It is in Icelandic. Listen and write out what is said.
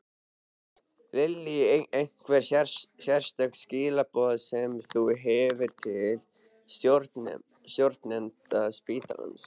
Lillý: Einhver sérstök skilaboð sem þú hefur til stjórnenda spítalans?